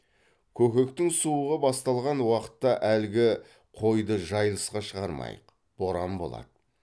көкектің суығы басталған уақытта әлгі қойды жайылысқа шығармайық боран болады